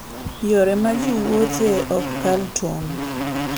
Yore ma ji wuothoe ok kal tong'.